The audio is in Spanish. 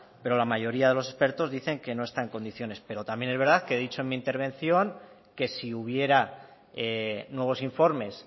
pero la mayoría de los expertos dice que no está en condiciones pero también es verdad que he dicho en mi intervención que si hubiera nuevos informes